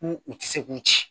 K'u u tɛ se k'u ci